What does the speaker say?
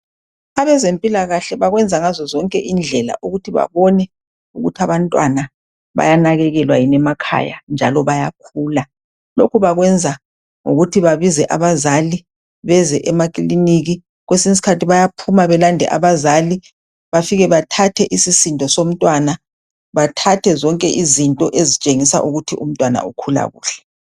Abezempilakahle bakwenza ngazozonke indlela ukuthi babone ukuthi abantwana bayanakekelwa yini emakhaya njalo bayakhula. Lokhu bakwenza ngokuthi babize abazali beze emakiliniki. Kwesinye isikhathi bayaphuma belande abazali bafike bathathe isisindo somntwana bathathe zonke izinto ezitshengisa ukuthi umntwana ukhula kuhle.